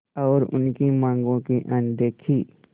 और उनकी मांगों की अनदेखी